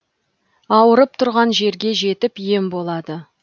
ауырып тұрған жерге жетіп ем болады